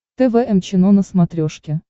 тэ вэ эм чено на смотрешке